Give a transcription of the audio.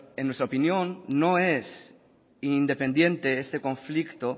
en nuestra opinión no es independiente este conflicto